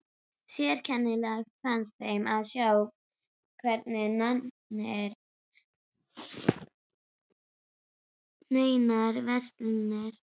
Sérkennilegast fannst þeim að sjá hvergi neinar verslanir.